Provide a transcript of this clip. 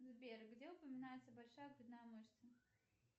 сбер где упоминается большая грудная мышца